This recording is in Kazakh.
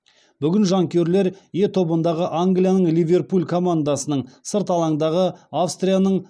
бүгін жанкүйерлер е тобындағы англияның ливерпуль командасының сырт алаңдағы австрияның